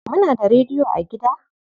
Muna da rediyo a gida?